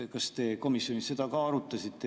Kas te komisjonis seda arutasite?